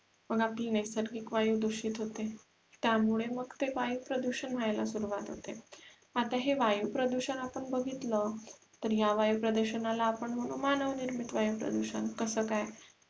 पण आपली नैसर्गिक वायू दूषित होते त्यामुळे मग ते वायू प्रदूषण व्हायला सुरुवात होते आता हे वायू प्रदूषण आपण बघितला ता या वायू प्रदूषण ला आपण मनू मानव निर्मित वायू प्रदूषण कसा काय